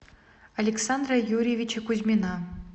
александра юрьевича кузьмина